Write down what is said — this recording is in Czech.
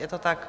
Je to tak?